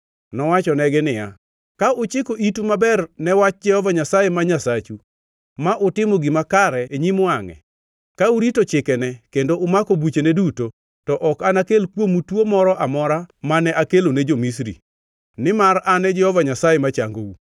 Nowachonegi niya, “Ka uchiko itu maber ne wach Jehova Nyasaye ma Nyasachu ma utimo gima kare e nyim wangʼe, ka urito chikene kendo umako buchene duto, to ok anakel kuomu tuo moro amora mane akelo ne jo-Misri, nimar an Jehova Nyasaye machangou.”